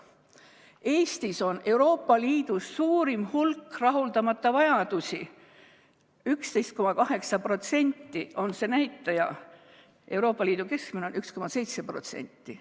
Eestis on Euroopa Liidu suurim hulk rahuldamata vajadusi, 11,8% on see näitaja, Euroopa Liidu keskmine on 1,7%.